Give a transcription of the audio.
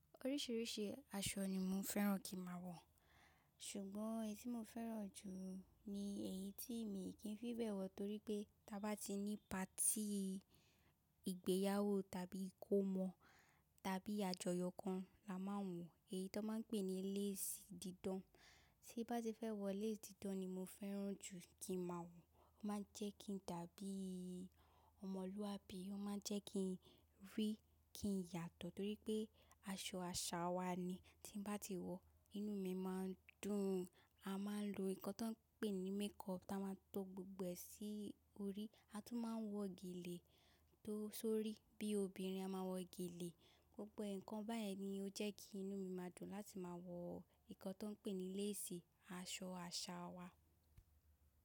Oríṣiríṣi aṣọ ni mo fẹ́ràn kí máa wọ̀. Ṣùgbọ́n, èyí tí mo fẹ́ràn jù ni èyí tí èmi kì í fi bẹ̀ wọ̀ torí pé tí a bá ti ní patí ìgbéyàwó tàbí ìkómọ̀ tàbí àjọyọ̀ kan la máa wọ̀. Èyí tó ń máa ń pè ní lace dídán. Tí bá ti fẹ́ wọ lace dídán ni mo fẹ́ràn jù kí máa wọ̀. Ó máa ń jẹ́ kí n dàbí ọmọlúwàbí, ó máa ń jẹ́ kí n rí, kí n yàtọ̀ torí pé aṣọ àṣà wa ni. Tí bá ti wọ̀, inú mi máa ń dùn. A máa ń lo nnkan tó ń pè ní makeup táa máa to gbogbo ẹ̀ sí orí. A tún máa ń wọ gèlè tó sórí. Bí obìnrin, a máa wọ gèlè. Gbogbo ǹkan báyẹ̀ ni ó jẹ́ kí inú mi máa dùn láti máa wọ nnkan tó ń pè ní lace, aṣọ àṣà wa.